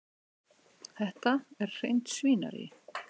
Þetta er hreint svínarí.